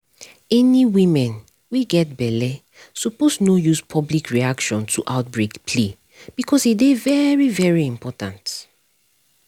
any women wey get belle suppose no use public reaction to outbreak play because e dey very very important